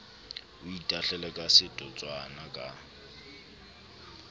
o itahlele ka setotswana ka